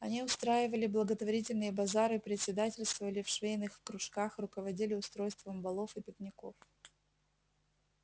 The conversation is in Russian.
они устраивали благотворительные базары председательствовали в швейных кружках руководили устройством балов и пикников